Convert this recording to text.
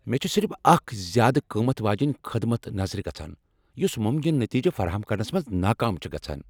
مےٚ چھ صرف اکھ زیادٕ قۭمتھ واجِنۍ خدمت نظرِ گژھان یس ممکنہٕ نتیٖجہٕ فراہم کرنس منٛز ناکام چھے گژھان ۔